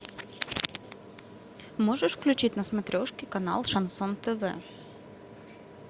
можешь включить на смотрешке канал шансон тв